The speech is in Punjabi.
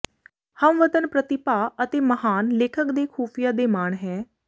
ਹਮਵਤਨ ਪ੍ਰਤਿਭਾ ਅਤੇ ਮਹਾਨ ਲੇਖਕ ਦੇ ਖੁਫੀਆ ਦੇ ਮਾਣ ਹੈ